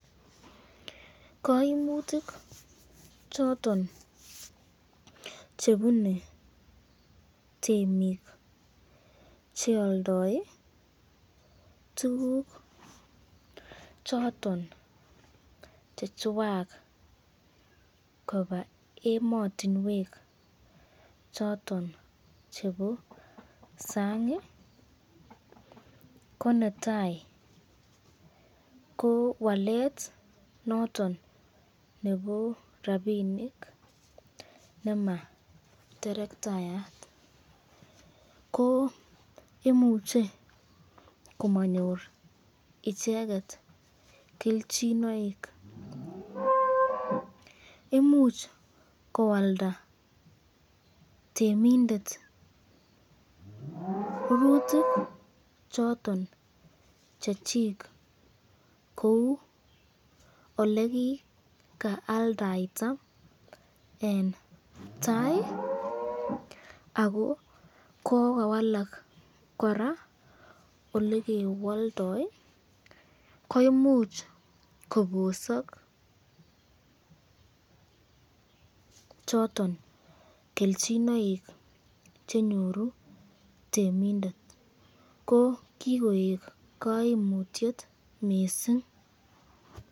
Kaimutik choton chebune temik chealdse tukukchoton chechwak koba ematinwek choton chebo sang ko netai ko wallet noton nebo rapinik nematerektayat ko imuche komanyor icheket kelchinoik, imuch koalda temindet rurutik choton Chechik kou olekikaaldaita eng tai ako kokawalak koraa olekewaldai, imuch kobosak choton kelchinoik chenyoru temindet ko kikonyor temik kaimutik mising.